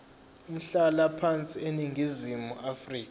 umhlalaphansi eningizimu afrika